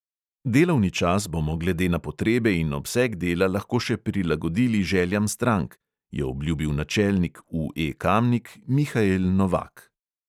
"Delovni čas bomo glede na potrebe in obseg dela lahko še prilagodili željam strank," je obljubil načelnik UE kamnik mihael novak.